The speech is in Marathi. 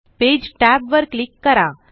पेज tab वर क्लिक करा